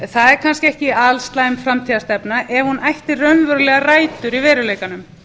það er kannski ekki alslæm framtíðarstefna ef hún ætti raunverulegar rætur í veruleikanum